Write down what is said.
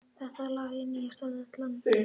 Þetta lag er nýjasta dellan.